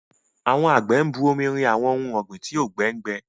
Àwọn àgbẹ̀ ń bu omi rin àwọn ohun ọ̀gbìn tí òùngbẹ ń gbẹ